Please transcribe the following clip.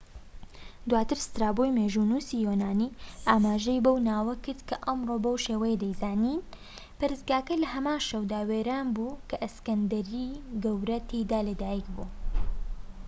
دواتر سترابۆی مێژوونووسی یۆنانی ئاماژەی بەو ناوە کرد، کە ئەمڕۆ بەو شێوەیە دەیزانین. پەرستگاکە لە هەمان شەودا وێران بوو کە ئەسکەندەری گەورە تیایدا لە دایک بوو‎